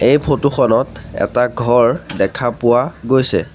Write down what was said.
এই ফটো খনত এটা ঘৰ দেখা পোৱা গৈছে।